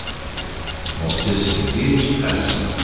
Movses Sergeyc əlini oynatdı.